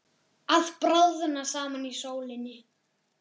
Að bráðna saman í sólinni